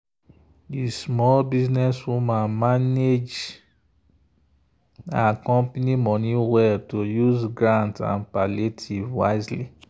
the small business woman manage her company money well to use grant and palliative wisely.